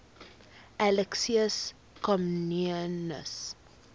alexius comnenus